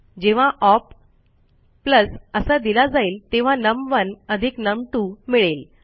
जेव्हा ओप असा दिला जाईल तेव्हा नम1 अधिक नम2 मिळेल